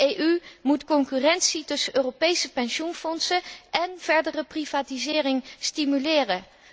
De EU moet concurrentie tussen Europese pensioenfondsen en verdere privatisering stimuleren.